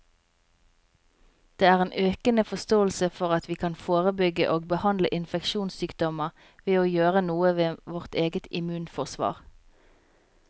Det er en økende forståelse for at vi kan forebygge og behandle infeksjonssykdommer ved å gjøre noe med vårt eget immunforsvar.